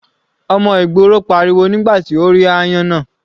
Ọmọ ìgboro pariwo nígbà tí ó rí áyán náà.